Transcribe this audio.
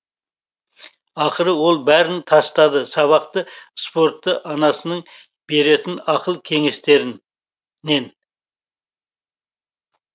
ақыры ол бәрін тастады сабақты спортты анасының беретін ақыл кенестерін